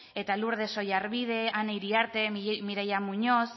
eta lourdes oyarbide ane iriarte mireia muñoz